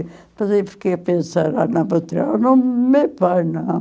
Depois eu fiquei a pensar, ah, não vou tirar o nome do meu pai, não.